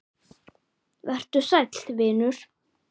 Vertu sæll, vinur.